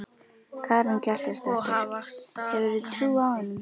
Karen Kjartansdóttir: Hefurðu trú á honum?